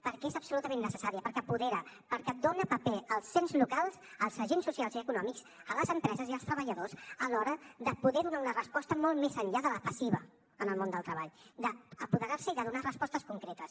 perquè és absolutament necessària perquè apodera perquè dona paper als ens locals als agents socials i econòmics a les empreses i als treballadors a l’hora de poder donar una resposta molt més enllà de la passiva en el món del treball d’apoderar se i de donar respostes concretes